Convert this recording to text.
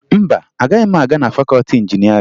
Mba, agaghị m aga na fakọọti injinịarịn